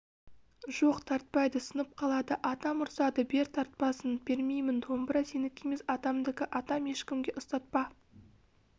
жоқ тартпайды сынып қалады атам ұрсады бер тартсын бермеймін домбыра сенікі емес атамдікі атам ешкімге ұстатпа